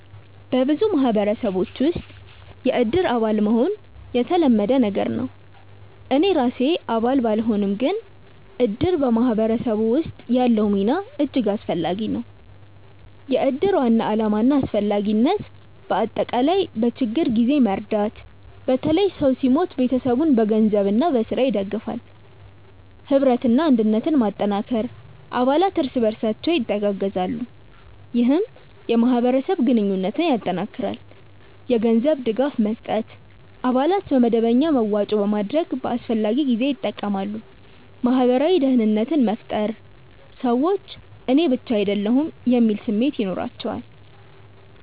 በብዙ ማህበረሰቦች ውስጥ “የእድር አባል” መሆን የተለመደ ነገር ነው። እኔ ራሴ አባል ባልሆንም፣ ግን እድር በማህበረሰብ ውስጥ ያለው ሚና እጅግ አስፈላጊ ነው። የእድር ዋና ዓላማና አስፈላጊነት በአጠቃላይ፦ በችግኝ ጊዜ መርዳት – በተለይ ሰው ሲሞት ቤተሰቡን በገንዘብና በሥራ ይደግፋል። ኅብረትና አንድነት መጠንከር – አባላት እርስ በርሳቸው ይተጋገዛሉ፣ ይህም የማህበረሰብ ግንኙነትን ያጠናክራል። የገንዘብ ድጋፍ መስጠት – አባላት በመደበኛ መዋጮ በማድረግ በአስፈላጊ ጊዜ ይጠቀማሉ። ማህበራዊ ደህንነት መፍጠር – ሰዎች “እኔ ብቻ አይደለሁም” የሚል ስሜት ይኖራቸዋል